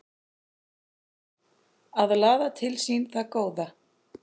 Að laða til sín það góða